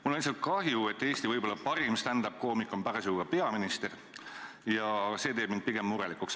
Mul on lihtsalt kahju, et Eesti, võib-olla parim stand-up-koomik on parasjagu ka peaminister, ja see teeb mind pigem murelikuks.